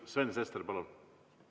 Sven Sester, palun!